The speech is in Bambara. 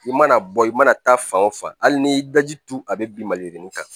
I mana bɔ i mana taa fan o fan hali n'i daji turu a bɛ bin mali kan